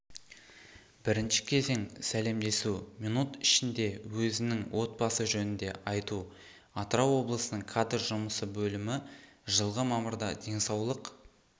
бірінші кезең сәлемдесу минут ішінде өзінің отбасы жөнінде айту атырау облысының кадр жұмысы бөлімі жылғы мамырда денсаулық